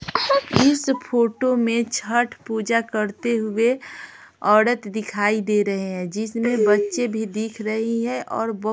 इस फोटो में छठ पूजा करते हुए औरत दिखाई दे रहे हैं जिसमें बच्चे भी दिख रही हैं और --